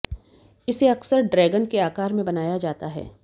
इसे अक्सर ड्रैगन के आकार में बनाया जाता है